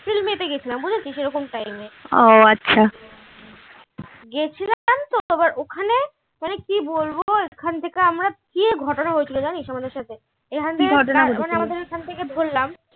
গেছিলাম বুঝেছিস এরকম time এ গেছিলাম তো আবার ওখানে মানে কী বলবো ওখান থেকে আমরা কী এক ঘটনা হয়েছিল জানিস আমাদের সাথে এখান থেকে আমাদের ওখান থেকে ধরলাম